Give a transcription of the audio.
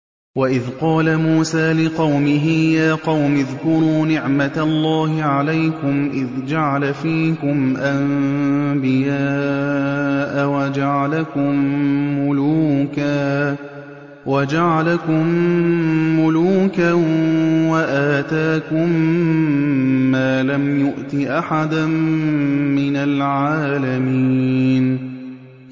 وَإِذْ قَالَ مُوسَىٰ لِقَوْمِهِ يَا قَوْمِ اذْكُرُوا نِعْمَةَ اللَّهِ عَلَيْكُمْ إِذْ جَعَلَ فِيكُمْ أَنبِيَاءَ وَجَعَلَكُم مُّلُوكًا وَآتَاكُم مَّا لَمْ يُؤْتِ أَحَدًا مِّنَ الْعَالَمِينَ